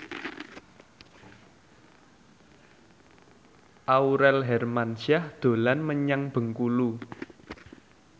Aurel Hermansyah dolan menyang Bengkulu